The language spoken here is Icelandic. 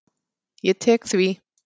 Ég tek því.